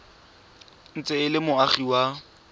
ntse e le moagi wa